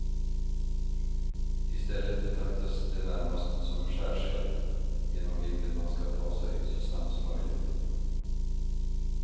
I stället betraktas de närmast som en skärseld genom vilken man ska ta sig så snabbt som möjligt.